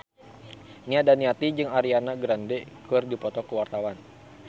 Nia Daniati jeung Ariana Grande keur dipoto ku wartawan